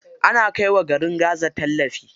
Ana kai wa garin gaza tallafi.